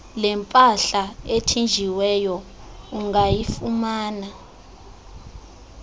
lempahla ethinjiweyo ungayifumana